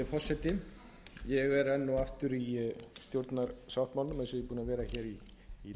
gæti örugglega tekið aðra hrinu líka að spyrja út í